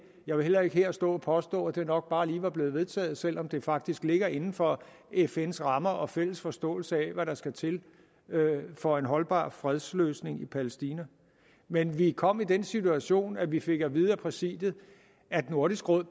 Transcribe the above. jeg vil heller ikke her stå og påstå at det nok bare lige var blevet vedtaget selv om det faktisk ligger inden for fns rammer og fælles forståelse af hvad der skal til for en holdbar fredsløsning i palæstina men vi kom i den situation at vi fik at vide af præsidiet at nordisk råd